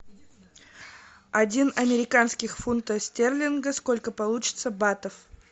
один американских фунтов стерлингов сколько получится батов